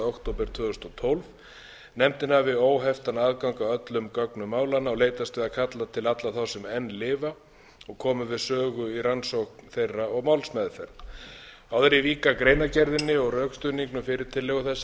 október tvö þúsund og tólf nefndin hafi óheftan aðgang að öllum gögnum málanna og leitist við að kalla til alla þá sem enn lifa og komu við sögu í rannsókn þeirra og málsmeðferð áður en ég vík að greinargerðinni og rökstuðningnum fyrir tillögu